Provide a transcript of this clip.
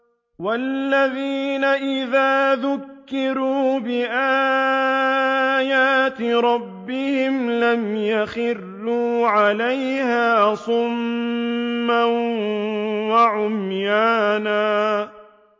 وَالَّذِينَ إِذَا ذُكِّرُوا بِآيَاتِ رَبِّهِمْ لَمْ يَخِرُّوا عَلَيْهَا صُمًّا وَعُمْيَانًا